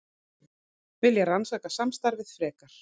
Vilja rannsaka samstarfið frekar